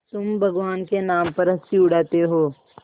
तुम भगवान के नाम पर हँसी उड़ाते हो